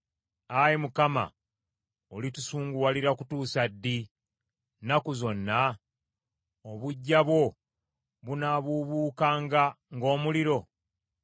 Ayi Mukama olitusunguwalira kutuusa ddi, nnaku zonna? Obuggya bwo bunaabuubuukanga ng’omuliro?